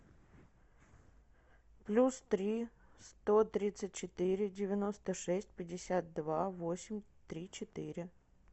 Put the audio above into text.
плюс три сто тридцать четыре девяносто шесть пятьдесят два восемь три четыре